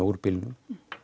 úr bílnum